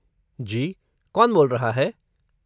जी, कौन बोल रहा है?